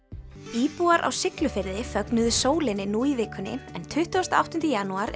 íbúar á Siglufirði fögnuðu sólinni nú í vikunni en tuttugasta og áttunda janúar